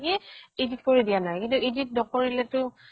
কি edit কৰি দিয়া নাই, কিন্তু edit নকৰিলেতো